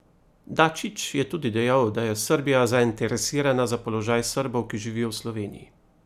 Dačić je tudi dejal, da je Srbija zainteresirana za položaj Srbov, ki živijo v Sloveniji.